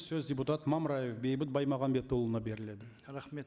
сөз депутат мамраев бейбіт баймағамбетұлына беріледі рахмет